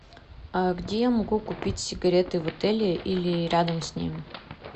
а где я могу купить сигареты в отеле или рядом с ним